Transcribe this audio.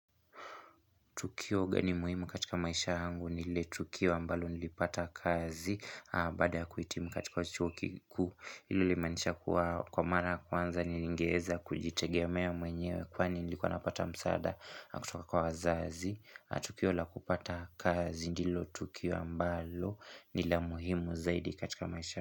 Tukio gani muhimu katika maisha yangu nile tukio ambalo nilipata kazi Baada ya kuhitimu katika chuo kikuu hilo limanisha kwa mara ya kwanza nilingeeza kujitegeamea mwenyewe Kwani nilikuwa napata msaada kutoka kwa wazazi Tukio la kupata kazi ndilo tukio ambalo ni la muhimu zaidi katika maisha.